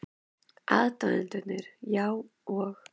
Aðdáendurnir, já, og?